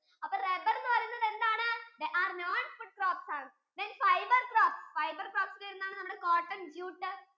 അപ്പൊ rubber എന്ന് പറയുന്നത് എന്താണ്? non food crops ആണ് then fiber crops, fiber crops യിൽ വരുന്നത് എന്താണ് cotton, jute